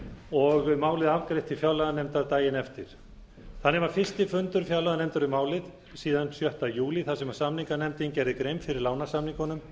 og afgreitt til fjárlaganefndar daginn eftir þannig var fyrst fundur fjárlaganefndar um málið síðan sjötta júlí þar sem samninganefndin gerði grein fyrir lánasamningunum